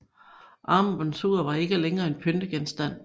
Armbåndsuret var ikke længere en pyntegenstand